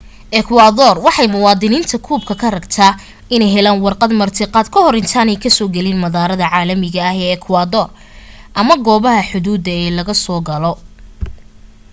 ekwadoor waxay muwaadiniinta kuuba ka rabtaa inay helaan warqad martiqaad ka hor intaanay ka soo gelin madaarada caalamiga ah ee ekwador ama goobaha xuduuda ee lag asoo galo